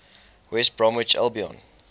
west bromwich albion